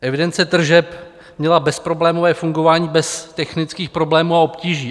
Evidence tržeb měla bezproblémové fungování bez technických problémů a obtíží.